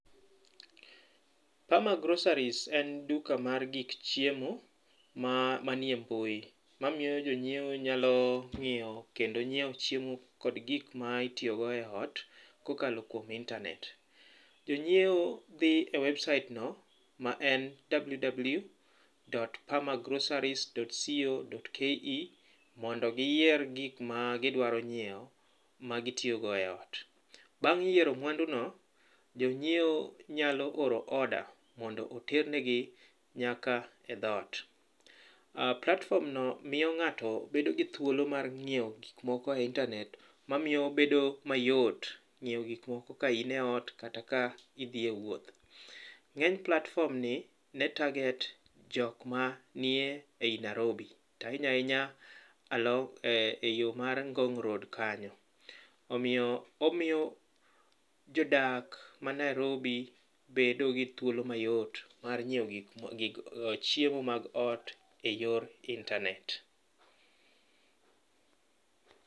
Perma groceries en duka mar gik chiemo manie mbui, mamiyo jonyiewo nyalo ng'iyo kendo nyiewo chiemo kod gik ma itiyogo e ot kokalo kuom internet. Jonyiewo dhi e website no ma en www.permagroceries.co.ke mondo ginyiew gik ma gidwa nyiewo magitiyo go e ot. Bang' yiero mwanduno, jonyiewo nyalo oro order mondo oter negi nyaka e dhot. platform no miyo ng'ato bedo gi thuolo mar ng'iewo gikmoko e internet ma miyo obedo mayot, ng'iewo gikmoko ka in e ot kata ka idhi e wuoth. Ng'eny platform ni ne target jok manie ei Nairobi, to ahinya ahinya e yo mar Ngong' Road kanyo. Omiyo, omiyo jodak ma Nairobi bedo gi thuolo mayot mar nyiewo nyiewo chiemo mag ot ei yor internet.